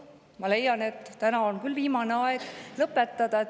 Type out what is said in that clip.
Ma leian, et on viimane aeg see lõpetada.